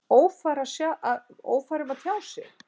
Ófær um að tjá sig?